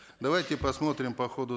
давайте посмотрим по ходу